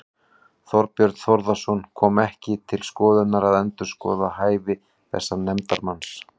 Þorbjörn Þórðarson: Kom ekki til skoðunar að endurskoða hæfi þessa nefndarmanns?